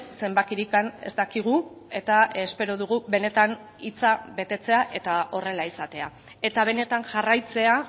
zenbakirik ez dakigu eta espero dugu benetan hitza betetzea eta horrela izatea eta benetan jarraitzea